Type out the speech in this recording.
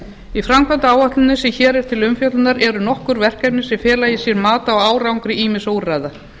í framkvæmdaáætluninni sem hér er til umfjöllunar eru nokkur verkefni sem fela í sér mat á árangri ýmissa úrræða